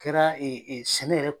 kɛra sɛnɛ yɛrɛ.